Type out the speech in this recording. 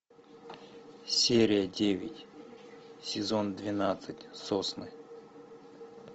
серия девять сезон двенадцать сосны